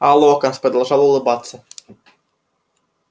а локонс продолжал улыбаться